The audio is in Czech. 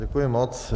Děkuji moc.